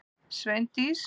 Sveindís